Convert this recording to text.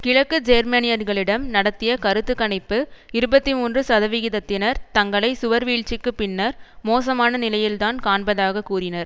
கிழக்கு ஜேர்மனியர்களிடம் நடத்திய கருத்து கணிப்பு இருபத்தி மூன்று சதவிகிதத்தினர் தங்களை சுவர் வீழ்ச்சிக்கு பின்னர் மோசமான நிலையில்தான் காண்பதாகக் கூறினர்